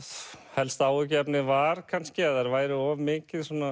helsta áhyggjuefnið var kannski að þær væru of mikið svona